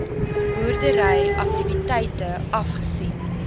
boerdery aktiwiteite afgesien